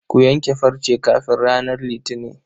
Ku yanke farce kafin ranar Litini.